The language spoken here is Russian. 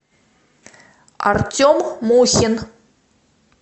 артем мухин